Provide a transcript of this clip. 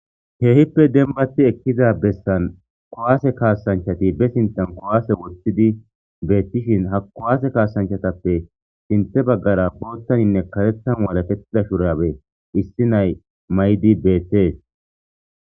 Keehippe dembatiza bessan,kuwase kaasanchati be sinthan kuwase woththidi beetishin,ha kuwase kaasanchatappe sinthe baggara boothanne karethan walaketida shuraabe issi nay mayidi beetees.